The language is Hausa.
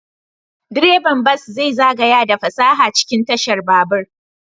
Direban bas zai zagaya da fasaha cikin tashar babur.